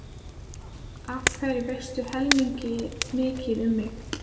Af hverju veistu heilmikið um mig?